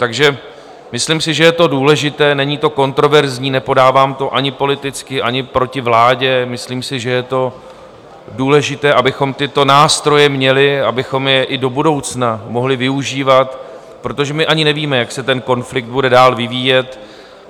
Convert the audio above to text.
Takže myslím si, že je to důležité, není to kontroverzní, nepodávám to ani politicky, ani proti vládě, myslím si, že je to důležité, abychom tyto nástroje měli, abychom je i do budoucna mohli využívat, protože my ani nevíme, jak se ten konflikt bude dál vyvíjet.